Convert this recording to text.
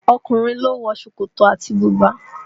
Ọkùnrin ló ń wọ ṣòkòtò àti bùbá